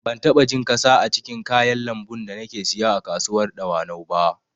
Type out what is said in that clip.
Ban taɓa jin ƙasa a cikin kayan lambun da nake siya a kasuwar dawanau ba